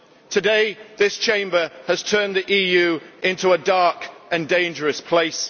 Today this Chamber has turned the EU into a dark and dangerous place.